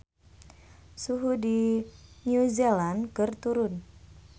Suhu di New Zealand keur turun